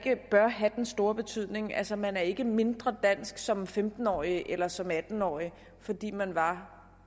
at have den store betydning altså man er ikke mindre dansk som femten årig eller som atten årig fordi man var